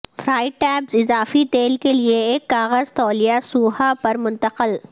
fried tabs اضافی تیل کے لئے ایک کاغذ تولیہ سوھا پر منتقل